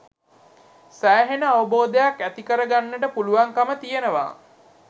සෑහෙන අවබෝධයක් ඇති කරගන්නට පුළුවන්කම තියෙනවා.